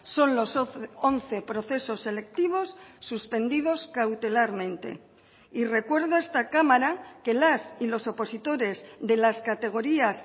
son los once procesos selectivos suspendidos cautelarmente y recuerdo a esta cámara que las y los opositores de las categorías